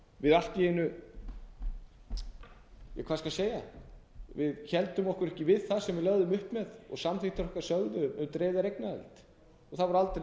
við allt í einu ja hvað skal segja við héldum okkur ekki við það sem við lögðum upp með og samþykktir okkar sögðu um dreifða eignaraðild það var aldrei nein